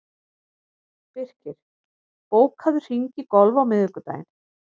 Birkir, bókaðu hring í golf á miðvikudaginn.